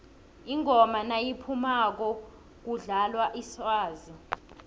ingoma nayiphumako kudlalwa iswazi